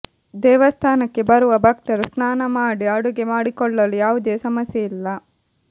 ದೇವಸ್ಥಾನಕ್ಕೆ ಬರುವ ಭಕ್ತರು ಸ್ನಾನ ಮಾಡಿ ಅಡುಗೆ ಮಾಡಿಕೊಳ್ಳಲು ಯಾವುದೇ ಸಮಸ್ಯೆ ಇಲ್ಲ